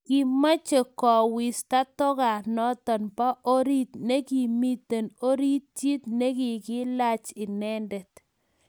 Kimoche kolwesta tugonoto bo orit nekimi oritinyi nekikailach inendet